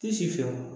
Tɛ si fɛ wa